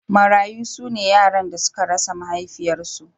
Marayu su ne yaran da suka rasa mahaifiyarsu.